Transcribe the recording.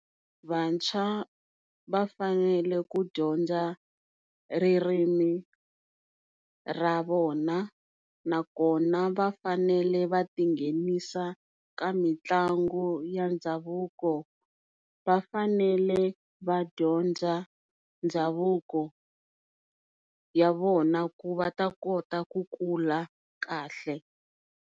Vantshwa va fanele ku dyondza ririmi ra vona na kona va fanele va tinghenisa ka mitlangu ya ndhavuko, va fanele vadyondza ndhavuko wa vona ku va ta kota ku kula kahle.